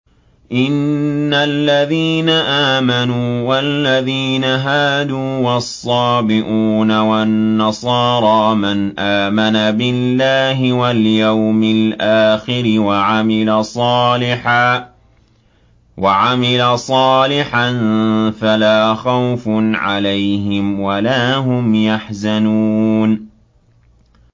إِنَّ الَّذِينَ آمَنُوا وَالَّذِينَ هَادُوا وَالصَّابِئُونَ وَالنَّصَارَىٰ مَنْ آمَنَ بِاللَّهِ وَالْيَوْمِ الْآخِرِ وَعَمِلَ صَالِحًا فَلَا خَوْفٌ عَلَيْهِمْ وَلَا هُمْ يَحْزَنُونَ